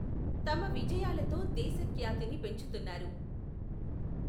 తమ విజయాలతో దేశఖ్యాతిని పెంచుతున్నారు.